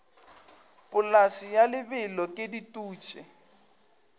polase ya lebelo ke dutše